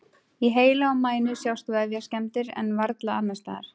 Í heila og mænu sjást vefjaskemmdir en varla annars staðar.